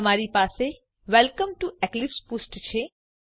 તમારી પાસે welcome to Eclipse પુષ્ઠ છે